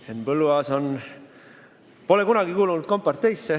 Henn Põlluaas pole kunagi kuulunud komparteisse.